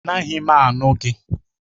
Anaghị m anụ gị